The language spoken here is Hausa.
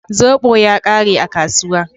Zobo ya ƙare a kasuwa.